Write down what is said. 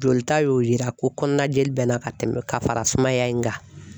Jolita y'o yira ko kɔnɔna jeli bɛ n na ka tɛmɛ ka fara sumaya in kan .